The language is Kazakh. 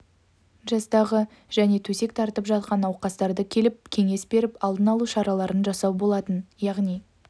жастағы және төсек тартып жатқан науқастарды келіп кеңес беріп алдын алу шараларын жасау болатын яғни